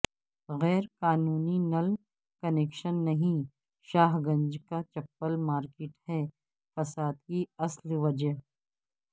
غیر قانونی نل کنکشن نہیں شاہ گنج کا چپل مارکیٹ ہے فساد کی اصل وجہ